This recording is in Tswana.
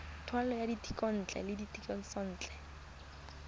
taolo ya dithekontle le dithekisontle